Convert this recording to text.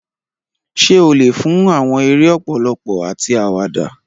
Ṣé o lè fún àwọn eré ọpọlọ àti àwàdà?